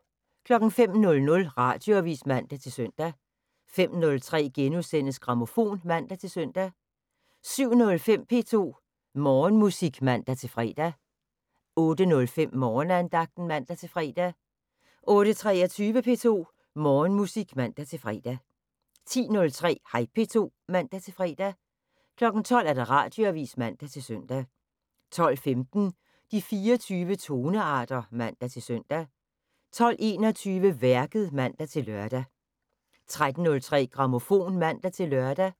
05:00: Radioavis (man-søn) 05:03: Grammofon *(man-søn) 07:05: P2 Morgenmusik (man-fre) 08:05: Morgenandagten (man-fre) 08:23: P2 Morgenmusik (man-fre) 10:03: Hej P2 (man-fre) 12:00: Radioavis (man-søn) 12:15: De 24 tonearter (man-søn) 12:21: Værket (man-lør) 13:03: Grammofon (man-lør)